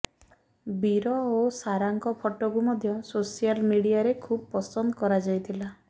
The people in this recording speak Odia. ବୀର ଓ ସାରାଙ୍କ ଫଟୋକୁ ମଧ୍ୟ ସୋସିଆଲ୍ ମିଡିଆରେ ଖୁବ୍ ପସନ୍ଦ କରାଯାଇଥିଲା